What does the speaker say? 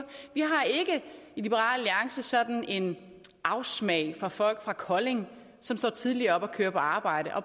vi har ikke i liberal alliance sådan en afsmag for folk fra kolding som står tidligt op og kører på arbejde og